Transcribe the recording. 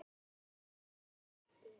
Við vorum ríkir menn.